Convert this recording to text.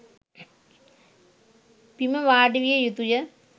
බිම වාඩිවිය යුතු ය.